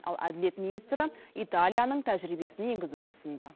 ал әділет министрі италияның тәжірибесін енгізуді ұсынды